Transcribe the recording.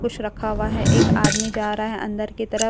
कुछ रखा हुआ है एक आदमी जा रहा है अंदर की तरफ।